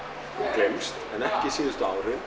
gleymst síðustu árin